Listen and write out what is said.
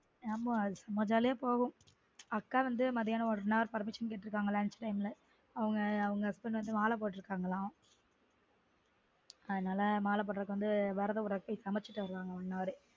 ஆமா சும்மா jolly யா போகும் அக்கா வந்து மத்தியானம் one hour permission கேட்டுருக்காங்க lunch time ல அவங்க husband வந்து மாலை போட்டுருக்கங்கலான் அதுனால மால போட்டுறுக்கது விரதம் விட்ரதுக்கு போய் சமைச்சுட்டு வருவாங்க one hour